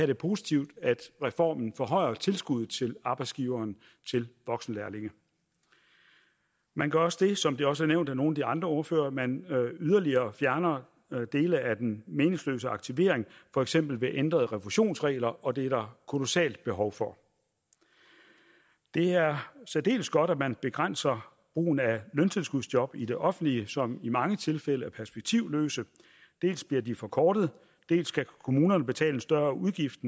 det positivt at reformen forhøjer tilskuddet til arbejdsgiveren til voksenlærlinge man gør også det som det også er nævnt af nogle af de andre ordførere at man yderligere fjerner dele af den meningsløse aktivering for eksempel ved ændrede refusionsregler og det er der kolossalt behov for det er særdeles godt at man begrænser brugen af løntilskudsjob i det offentlige som i mange tilfælde er perspektivløse dels bliver de forkortet dels skal kommunerne betale en større udgift